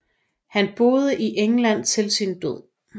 Han boede i England til sin død